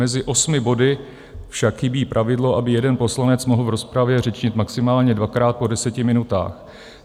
Mezi osmi body však chybí pravidlo, aby jeden poslanec mohl v rozpravě řečnit maximálně dvakrát po deseti minutách.